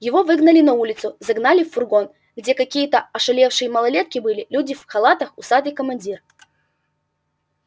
его выгнали на улицу загнали в фургон где какие-то ошалевшие малолетки были люди в халатах усатый командир